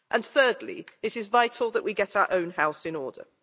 Thirdly, it is vital that we get our own house in order.